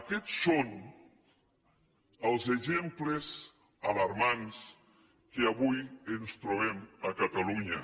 aquests són els exemples alarmants que avui ens trobem a catalunya